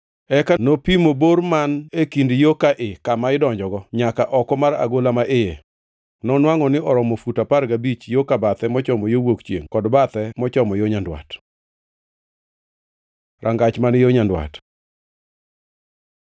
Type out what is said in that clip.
Eka nopimo bor man e kind yo ka ii kama idonjogo nyaka oko mar agola ma iye. Nonwangʼo ni oromo fut apar gabich yo ka bathe mochomo yo wuok chiengʼ kod bathe mochomo yo nyandwat. Rangach man yo nyandwat